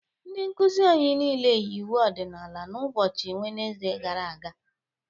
Ndị nkuzi anyị niile yi uwe ọdịnala n'ụbọchị Wenzide gara aga.